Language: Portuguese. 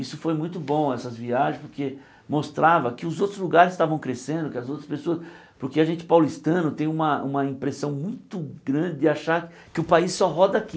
Isso foi muito bom, essas viagens, porque mostrava que os outros lugares estavam crescendo, que as outras pessoas... Porque a gente paulistano tem uma uma impressão muito grande de achar que o país só roda aqui.